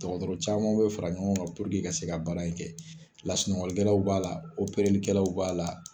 Dɔgɔtɔrɔw caman be fara ɲɔgɔn kan ka se ka baara in kɛ .Lasunɔgɔlikɛlaw b'a la, b'a la